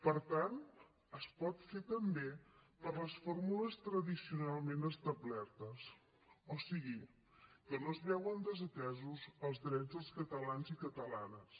per tant es pot fer també per les fórmules tradicionalment establertes o sigui que no es veuen desatesos els drets dels catalans i catalanes